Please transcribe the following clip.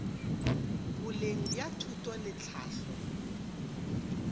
boleng bja thuto le tlhahlo